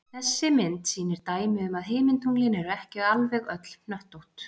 Þessi mynd sýnir dæmi um að himintunglin eru ekki alveg öll hnöttótt.